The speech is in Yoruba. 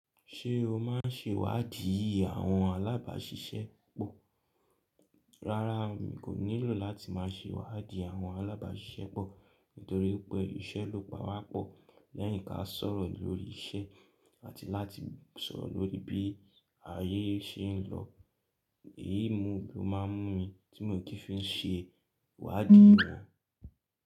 Ṣé o máa ń ṣe wádìí àwọn alábàáṣiṣẹ́ pọ̀? Rárá, mi kò nílò láti máa ṣe wádìí àwọn alábàáṣiṣẹ́ pọ̀ nítorí pé iṣẹ́ ló pa wá pọ̀. Lẹ́yìn ká sọ̀rọ̀ lórí iṣẹ́ àti láti sọ̀rọ̀ lórí bí ayé ṣe ń lọ. Èyí ni mo máa ń mú mi tí mo kii fi ń ṣe wádìí wọn.